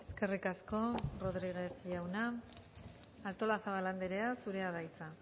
eskerrik asko rodriguez jauna artolazabal andrea zurea da hitza